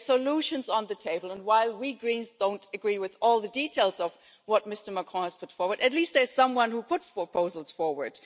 known. There are solutions on the table and, while we Greens don't agree with all the details of what Mr Macron has put forward, at least there is someone who has put proposals forward.